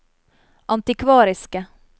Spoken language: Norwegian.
antikvariske